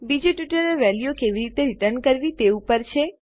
બીજું ટ્યુટોરીયલ વેલ્યુઓ કેવી રીતે રીટર્ન કરવી તે ઉપર છે